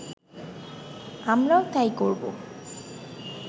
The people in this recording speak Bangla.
আমরাও তাই করব